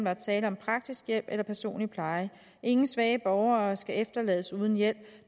er tale om praktisk hjælp eller personlig pleje ingen svage borgere skal efterlades uden hjælp